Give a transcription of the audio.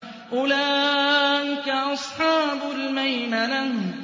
أُولَٰئِكَ أَصْحَابُ الْمَيْمَنَةِ